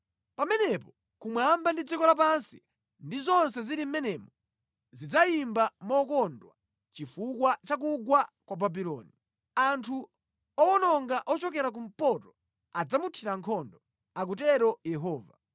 Pamenepo kumwamba ndi dziko lapansi ndi zonse zili mʼmenemo zidzayimba mokondwa chifukwa cha kugwa kwa Babuloni. Anthu owononga ochokera kumpoto adzamuthira nkhondo,” akutero Yehova.